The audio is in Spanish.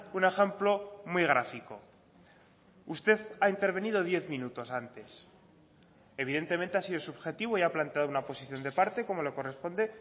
un ejemplo muy gráfico usted ha intervenido diez minutos antes evidentemente ha sido subjetivo y ha planteado una posición de parte como le corresponde